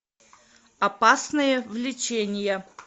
опасное влечение